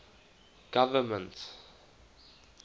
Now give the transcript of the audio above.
government